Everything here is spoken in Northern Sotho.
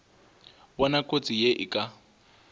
bona kotsi ye e ka